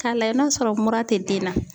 Ka lajɛ n'a sɔrɔ mura te den na.